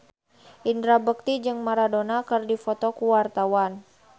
Indra Bekti jeung Maradona keur dipoto ku wartawan